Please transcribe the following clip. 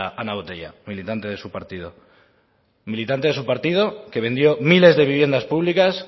ana botella militante de su partido militante de su partido que vendió miles de viviendas públicas